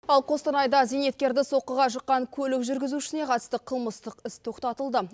ал қостанайда зейнеткерді соққыға жыққан көлік жүргізушісіне қатысты қылмыстық іс тоқтатылды